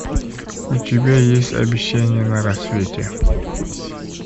у тебя есть обещание на рассвете